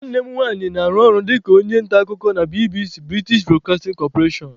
Nwanne m nwanyị na-arụ ọrụ dịka onye nta akụkọ na BBC(British Broadcasting Corporation)